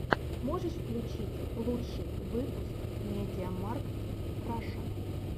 можешь включить лучший выпуск мидиамаркт раша